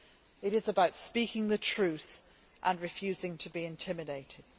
It is about speaking the truth and refusing to be intimidated.